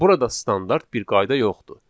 Burada standart bir qayda yoxdur.